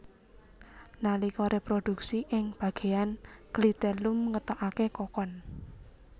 Nalika réprodhuksi ing bagéyan klitellum ngetokaké kokon